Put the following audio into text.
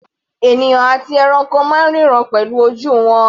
Ènìyàn àti ẹranko máa ń ríran pẹ̀lú ojú wọn.